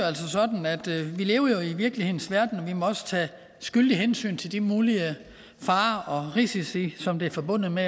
altså sådan at vi lever i virkelighedens verden og vi må tage skyldigt hensyn til de mulige farer og risici som er forbundet med